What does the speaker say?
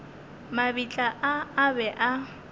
mabitla a a be a